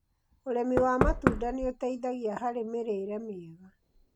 Ũrĩmi wa matunda nĩ ũteithagia harĩ mĩrĩre mĩega.